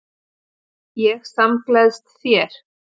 Ég samgleðst þér.